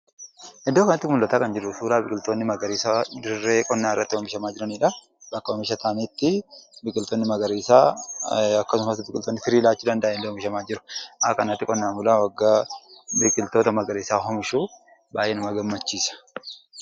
Iddoo kanatti kan argaa jirru suuraa biqiltoonni magariisa dirree qonnaa irratti oomishamaa jiranidha. Bakka oomisha irmsaaniitti biqilootni magariisaa akkasumas biqiloonni firii laachuu danda’an oomishamaa jiru. Akka kanatti qotee bulaan oggaa biqiloota magariisaa oomishu baay'ee nama gammachiisa.